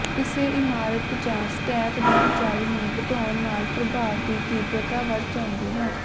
ਕਿਸੇ ਇਮਾਰਤ ਜਾਂ ਸਟੈਕ ਦੀ ਉਚਾਈ ਨੂੰ ਵਧਾਉਣ ਨਾਲ ਪ੍ਰਭਾਵ ਦੀ ਤੀਬਰਤਾ ਵਧ ਜਾਂਦੀ ਹੈ